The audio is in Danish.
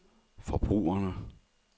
forbrugerne